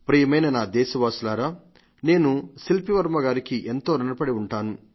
ప్రియమైన నా దేశవాసులారా నేను శిల్పా వర్మ గారికి ఎంతో రుణపడి ఉంటాను